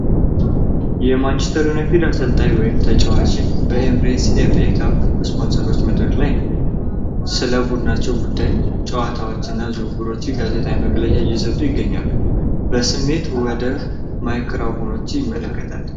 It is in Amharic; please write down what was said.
የማንችስተር ዩናይትድ አሰልጣኝ ወይም ተጫዋች በኢሚሬትስ ኤፍ ኤ ካፕ ስፖንሰሮች መድረክ ላይ ነው። ስለ ቡድናቸው ጉዳይ፣ ጨዋታዎችና ዝውውሮች ጋዜጣዊ መግለጫ እየሰጠ ይገኛል። በስሜት ወደ ማይክራፎኖቹ ይመለከታል።